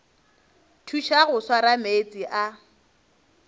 thuša go swara meetse a